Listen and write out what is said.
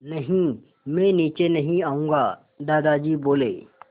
नहीं मैं नीचे नहीं आऊँगा दादाजी बोले